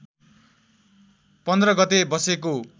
१५ गते बसेको